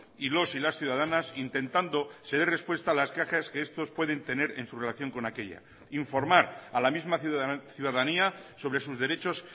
y los y las ciudadanas intentando se dé respuesta a las quejas que estos pueden tener en su relación con aquella informar a la misma ciudadanía sobre sus derechos